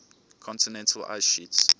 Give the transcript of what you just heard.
continental ice sheets